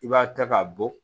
I b'a ta k'a bɔ